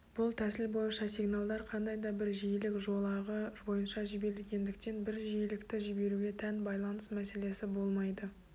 бұл тәсіл бойынша сигналдар қандай да бір жиілік жолағы бойынша жіберілетіндіктен бір жиілікті жіберуге тән байланыс мәселесі болмайды